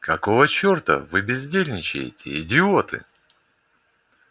какого чёрта вы бездельничаете идиоты